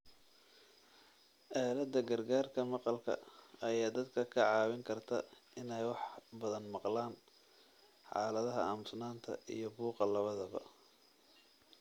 Aaladda gargaarka maqalka ayaa dadka ka caawin karta inay wax badan maqlaan xaaladaha aamusnaanta iyo buuqa labadaba.